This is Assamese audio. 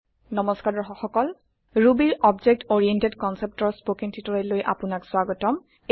নমস্কাৰ দৰ্শক সকল Rubyৰ অবজেক্ট অৰিয়েণ্টেড Conceptৰ স্পকেন টিওটৰিয়েল লৈ আপোনাক স্ৱাগতম